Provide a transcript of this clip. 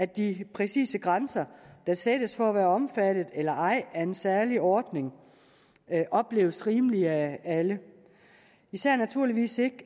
de præcise grænser der sættes for at være omfattet eller ej af en særlig ordning opleves rimelige af alle især naturligvis ikke